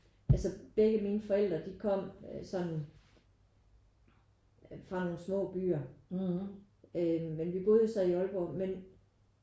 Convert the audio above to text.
Altså begge mine forældre de kom øh sådan fra nogen små byer øh men vi boede jo så i Aalborg men